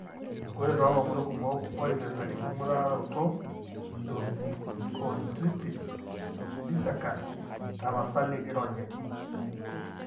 Ore toolomon kumok oipirta enking'uraroto eosteochondritis dissecans, tapasali ironya ene.